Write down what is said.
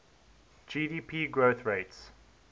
gdp growth rates